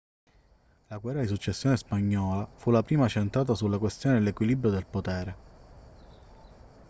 la guerra di successione spagnola fu la prima centrata sulla questione dell'equilibrio del potere